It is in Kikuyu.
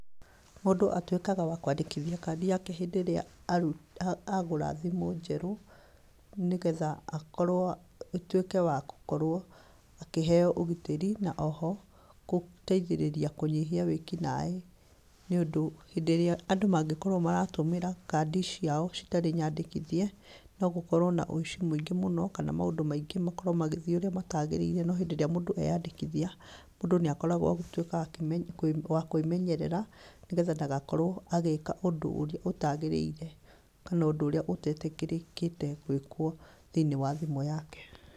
Mũndũ atuĩkaga wa kwandĩkithia kandi yake hĩndĩ ĩrĩa arũ, agũra thimũ njerũ nĩgetha akorwo, atuĩke wa gũkorwo akĩheywo ũgitĩri na oho kũteithĩrĩria kũnyihia wĩkinaĩ, nĩũndũ hĩndĩ ĩrĩa andũ mangĩkorwo maratũmĩra kandi ciao citarĩ nyandĩkithie nogũkorwo na ũici mũingĩ mũno kana maũndũ maingĩ makorwo magĩthiĩ ũrĩa matagĩrĩire, no hĩndĩ ĩrĩa mũndũ eyandĩkithia, mũndũ nĩ akoragwo wa gũtuĩka waki, wakwĩmenyerera nĩgetha ndagakorwo agĩka ũndũ ũrĩa ũtagĩrĩire kana ũndũ ũrĩa ũtetĩkĩrĩkĩte gwĩkwo thĩiniĩ wa thimũ yake.